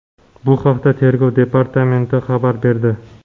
Bu haqda tergov departamenti xabar berdi.